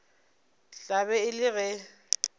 tla be e le ge